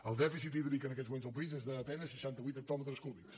el dèficit hídric en aquests moments al país és a penes seixanta vuit hectòmetres cúbics